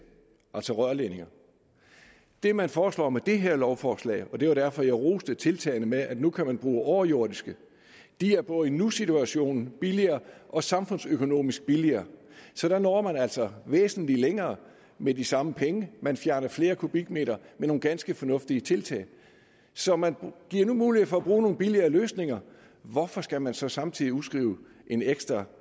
altså rørledninger det man foreslår med det her lovforslag og det var derfor jeg roste tiltagene med at nu kan man bruge overjordiske er både i nusituationen billigere og samfundsøkonomisk billigere så der når man altså væsentlig længere med de samme penge man fjerner flere kubikmeter med nogle ganske fornuftige tiltag så man nu giver mulighed for at bruge nogle billigere løsninger hvorfor skal man så samtidig udskrive en ekstra